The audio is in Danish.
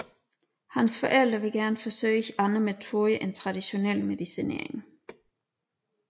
Hans forældre vil gerne forsøge andre metoder end traditionel medicinering